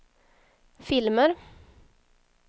filmer